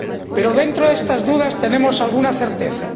Pero, dentro de estas dudas, tenemos alguna certeza.